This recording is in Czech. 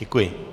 Děkuji.